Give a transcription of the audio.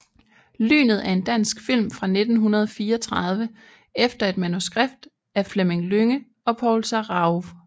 Lynet er en dansk film fra 1934 efter et manuskript af Fleming Lynge og Paul Sarauw